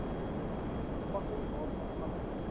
pakking waarvan alles